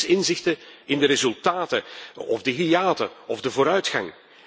Ik mis inzichten in de resultaten of de hiaten of de vooruitgang.